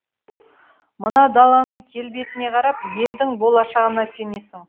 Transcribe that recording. мына даланың келбетіне қарап елдің болашағына сенесің